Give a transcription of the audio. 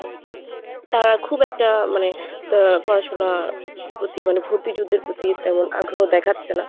তারা খুব একটা মানে পড়াশোনার প্রতি মানে ভর্তি যুদ্ধের প্রতি তেমন আগ্রহ দেখাচ্ছে না।